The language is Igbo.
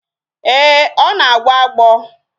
Ee, ọ na-agbo agbọ